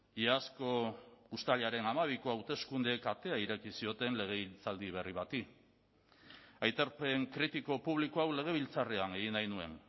iazko uztailaren hamabiko hauteskundeek atea ireki zioten legegintzaldi berri bati aitorpen kritiko publiko hau legebiltzarrean egin nahi nuen